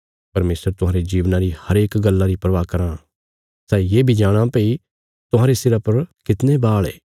परमेशर तुहांरे जीवना री हरेक गल्ला री परवाह करां सै ये बी जाणां भई तुहांरे सिरा पर कितणे बाल़ ये